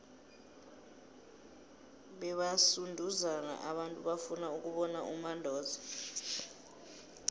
bebasunduzana abantu bafuna ukubona umandoza